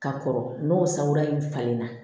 Ka kɔrɔ n'o sagola in falenna